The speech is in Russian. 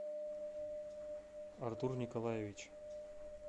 артур николаевич